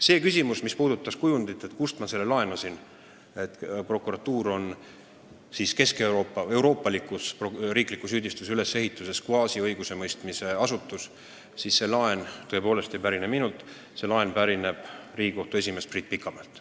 Mis puutub minu kasutatud kujundisse, et prokuratuur on euroopaliku riikliku süüdistuse ülesehituse kohaselt kvaasiõigusemõistmise asutus, siis see ei pärine minult, see pärineb Riigikohtu esimehelt Priit Pikamäelt.